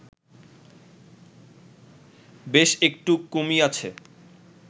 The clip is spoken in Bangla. বেশ একটু কমিয়াছে